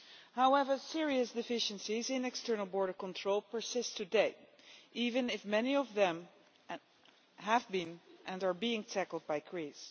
However, serious deficiencies in external border control persist today even if many of them have been, and are being, tackled by Greece.